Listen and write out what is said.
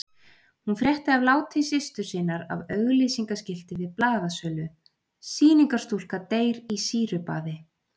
Hún frétti af láti systur sinnar af auglýsingaskilti við blaðasölu, SÝNINGARSTÚLKA DEYR Í SÝRUBAÐI.